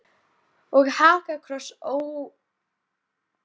Og hakakross, óreglulegan og stunginn kvistum en þó auðþekkjanlegan.